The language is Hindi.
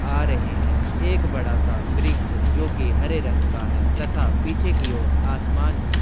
आ रहे हैं। एक बड़ा सा वृक्ष जोकि हरे रंग का है तथा पीछे की और आसमान भी --